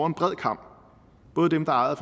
en bred kam både dem der er ejet